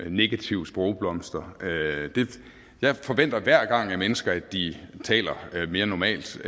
og negative sprogblomster jeg forventer hver gang af mennesker at de taler mere normalt